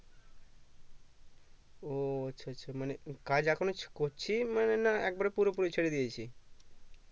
ও আচ্ছা আচ্ছা মানে কাজ এখনো করছিস মানে না একেবারে পুরোপুরি ছেড়ে দিয়েছি